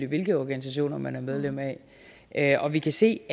hvilke organisationer man er medlem af og vi kan se